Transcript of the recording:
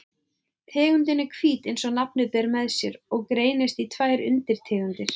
Tegundin er hvít eins og nafnið ber með sér og greinist í tvær undirtegundir.